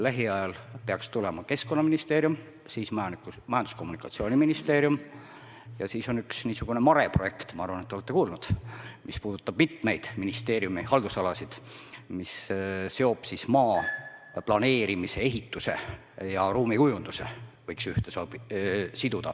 Lähiajal peaks tulema Keskkonnaministeerium, siis Majandus- ja Kommunikatsiooniministeerium ja siis on MaRe projekt – ma arvan, et olete kuulnud –, mis puudutab mitmeid ministeeriumi haldusalasid, mis seob maa planeerimise, ehituse ja ruumikujunduse.